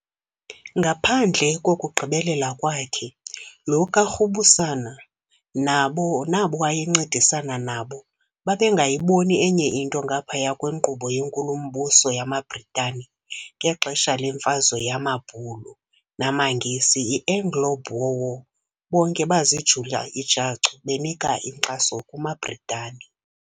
Ngaphandle kokugqibelela kwakhe, lo kaRubusana nabo waye ncedisana nabo babe ngayiboni enye into ngaphaya kwenkqubo yenkulu-mbuso yamaBritani. Ngexesha lemfazwe yamabhulu namaNgesi, iAnglo- Boer War bonke bazijula ijacu benika inkxaso kumaBritani.